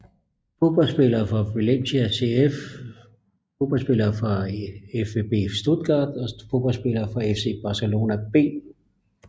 Fodboldspillere fra Valencia CF Fodboldspillere fra VfB Stuttgart Fodboldspillere fra FC Barcelona B